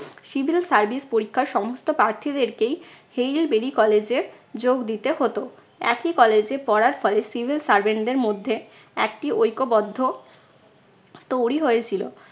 civil service পরীক্ষার সমস্ত প্রার্থীদেরকেই হেইল বিডি college এ যোগ দিতে হতো। একই college এ পড়ার ফলে civil servant দের মধ্যে একটি ঐক্যবদ্ধ তৈরি হয়েছিল।